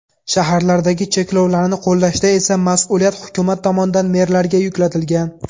Shaharlardagi cheklovlarni qo‘llashda esa mas’uliyat hukumat tomonidan merlarga yuklatilgan.